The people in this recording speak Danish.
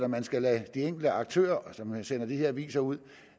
man skal lade de enkelte aktører som sender de her aviser ud